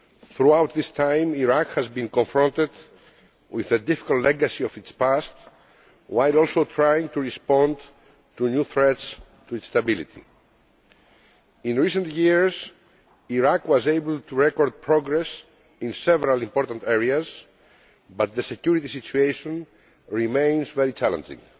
Throughout this time, Iraq has been confronted with the difficult legacy of its past, while also trying to respond to new threats to its stability. In recent years Iraq was able to record progress in several important areas, but the security situation remains very challenging.